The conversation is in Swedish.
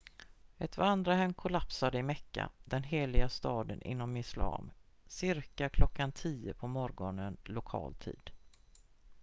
ett vandrarhem kollapsade i mekka den heliga staden inom islam cirka klockan 10 på morgonen lokal tid